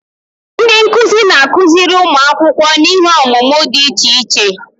Ndị nkuzi na-akụziri ụmụ akwụkwọ n'ihe ọmụmụ dị iche iche.